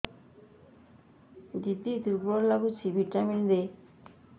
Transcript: ଦିହ ଦୁର୍ବଳ ଲାଗୁଛି ଭିଟାମିନ ଦେ